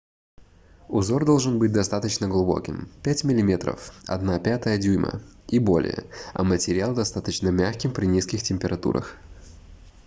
узор должен быть достаточно глубоким — 5 мм 1/5 дюйма и более а материал — достаточно мягким при низких температурах